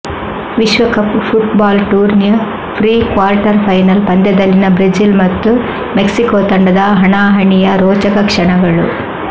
ವಿಶ್ವಕಪ್ ಫುಟ್ಬಾಲ್ ಟೂರ್ನಿಯ pre quarter final ಪಂದ್ಯದಲ್ಲಿನ ಬ್ರೆಜಿಲ್ ಮತ್ತು ಮೆಕ್ಸಿಕೊ ತಂಡದ ಹಣಾಹಣಿಯ ರೋಚಕ ಕ್ಷಣಗಳು